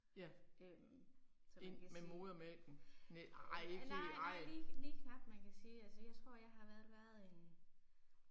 Øh så man kan sige, nej nej lige lige knap, man kan sige altså jeg tror jeg har nok været en